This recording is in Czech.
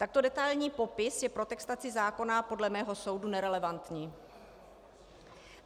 Takto detailní popis je pro textaci zákona podle mého soudu nerelevantní.